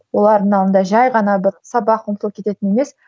олардың алдында жай ғана бір сабақ оқып кететін емес